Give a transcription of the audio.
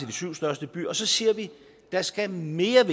de syv største byer og så siger vi der skal mere